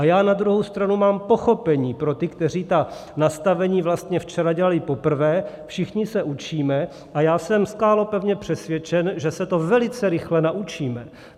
A já na druhou stranu mám pochopení pro ty, kteří ta nastavení vlastně včera dělali poprvé, všichni se učíme a já jsem skálopevně přesvědčen, že se to velice rychle naučíme.